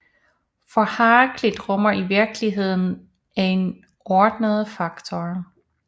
For Heraklit rummer virkeligheden en ordnende faktor